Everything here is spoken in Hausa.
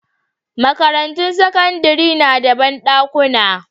Makarantun sakandare na da banɗakuna